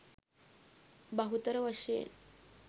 බහුතර වශයෙන්